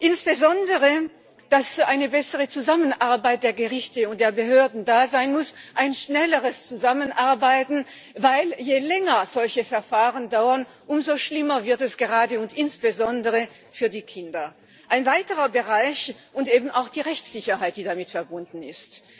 Insbesondere muss es eine bessere Zusammenarbeit der Gerichte und der Behörden geben, ein schnelleres Zusammenarbeiten, denn je länger solche Verfahren dauern, umso schlimmer wird es gerade und insbesondere für die Kinder. Und es bedarf auch der Rechtssicherheit, die damit verbunden ist.